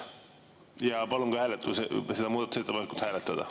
Ja palun ka seda muudatusettepanekut hääletada.